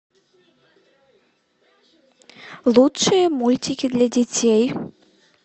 лучшие мультики для детей